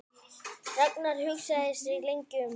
Ragnar hugsaði sig lengi um.